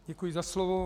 Děkuji za slovo.